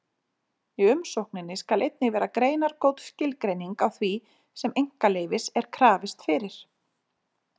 Í umsókninni skal einnig vera greinagóð skilgreining á því sem einkaleyfis er krafist fyrir.